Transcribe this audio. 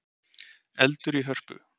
Eldur í Hörpu